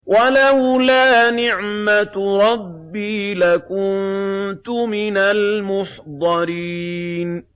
وَلَوْلَا نِعْمَةُ رَبِّي لَكُنتُ مِنَ الْمُحْضَرِينَ